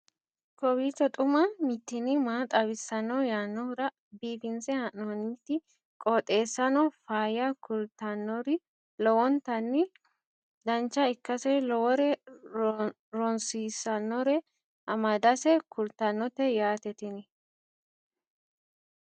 kowiicho xuma mtini maa xawissanno yaannohura biifinse haa'noonniti qooxeessano faayya kultannori lowonta dancha ikkase lowore rosiisannore amadase kultannote yaate tini